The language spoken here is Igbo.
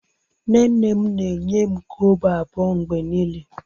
Nne nne m na-enye m kobo abuo mgbe niile